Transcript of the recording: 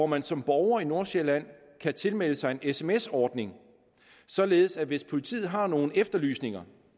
man som borger i nordsjælland tilmelde sig en sms ordning således at hvis politiet har nogle efterlysninger